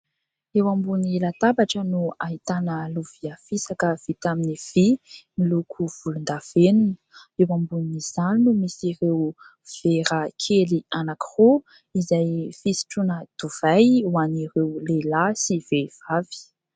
Eo ambony latabatra no ahitana lovia fisaka vita amin'ny vy miloko volondavenona ; eo ambonin'izany no misy ireo vera kely anankiroa izay fisotroana divay ho an'ireo lehilahy sy vehivavy.